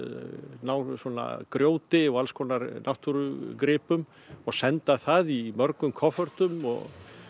ná grjóti og alls konar náttúrugripum og senda það í mörgum koffortum og